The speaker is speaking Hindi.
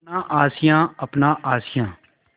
अपना आशियाँ अपना आशियाँ